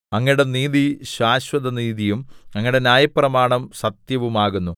അങ്ങയുടെ നീതി ശാശ്വതനീതിയും അങ്ങയുടെ ന്യായപ്രമാണം സത്യവുമാകുന്നു